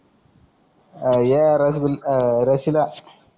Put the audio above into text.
अं य रसगु अं रशिला